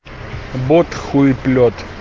бот хуиплет